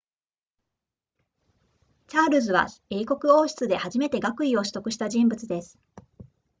チャールズは英国王室で初めて学位を取得した人物です